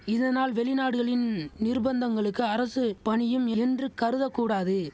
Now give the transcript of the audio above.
இதனால் வெளிநாடுகளின் நிர்பந்தங்களுக்கு அரசு பணியும் என்று கருதக்கூடாது